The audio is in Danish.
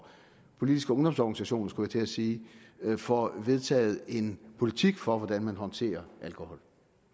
i politiske ungdomsorganisationer skulle jeg til at sige får vedtaget en politik for hvordan de håndterer alkohol